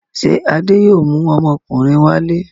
Ṣé Adé yóò mú ọmọkùnrin wálé?